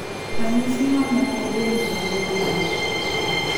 Ranyisi mamoko bende nyalo bedoe.